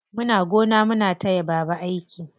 Muna gona muna taya baba aiki.